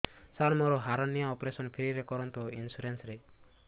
ସାର ମୋର hernia operation free ରେ କରନ୍ତୁ ଇନ୍ସୁରେନ୍ସ ରେ